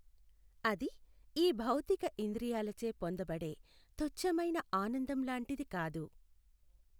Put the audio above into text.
అది ఈ భౌతిక ఇంద్రియాలచే పొందబడే తుఛ్ఛమైన ఆనందం లాంటిది కాదు.